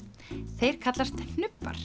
þeir kallast